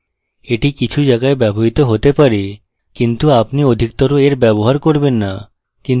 এটি কিছু জায়াগায় ব্যবহৃত হতে পারে কিন্তু আপনি অধিকতর এর ব্যবহার করবেন না